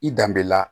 I danbe la